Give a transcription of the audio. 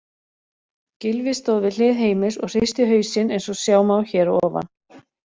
Gylfi stóð við hlið Heimis og hristi hausinn eins og sjá má hér að ofan.